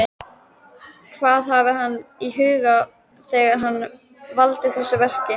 Hvað hafði hann í huga þegar hann valdi þessi verk?